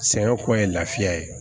Sɛŋɛn kɔ ye lafiya ye